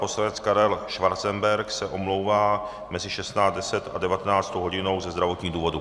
Poslanec Karel Schwarzenberg se omlouvá mezi 16.10 a 19. hodinou ze zdravotních důvodů.